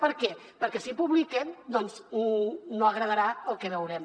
per què perquè si ho publiquen doncs no agradarà el que veurem